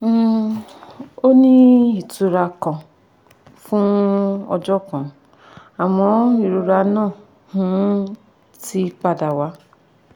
um ó ní ìtura kan fún ọjọ́ kan àmọ́ ìrora náà um ti padà wá